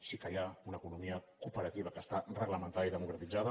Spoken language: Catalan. sí que hi ha una economia cooperativa que està reglamentada i democratitzada